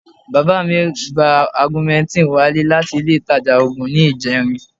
Bàbá mi gba augmentin wálé láti ile ìtajà oògùn ní ìjẹrin